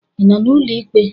Ị nọ n'ụlọ ikpe?